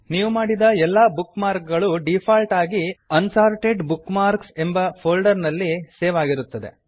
ನೀವು ಮಾಡಿದ ಎಲ್ಲಾ ಬುಕ್ ಮಾರ್ಕ್ ಗಳು ಡಿಫಾಲ್ಟ್ ಆಗಿ unsorted bookmarks unsorted bookmarks ಎಂಬ ಫೋಲ್ಡರ್ ನಲ್ಲಿ ಸೇವ್ ಆಗಿರುತ್ತದೆ